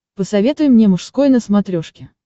посоветуй мне мужской на смотрешке